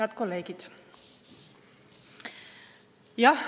Head kolleegid!